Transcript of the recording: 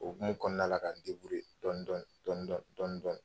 O hukumu kɔnɔna la ka dɔɔnin- dɔɔnin dɔɔnin- dɔɔnin dɔɔnin- dɔɔnin